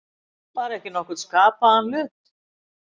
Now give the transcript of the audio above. Bara ekki nokkurn skapaðan hlut.